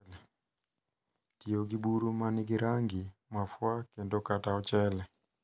Tiyo gi buru ma nigi rangi, mafua, kendo kata ochele.